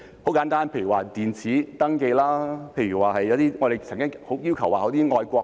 簡單來說，例如電子登記，又例如我們曾經要求設立"愛國隊"......